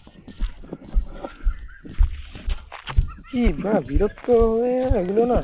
কি বিরক্ত লাগল না